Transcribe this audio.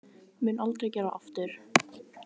Mun aldrei gera aftur.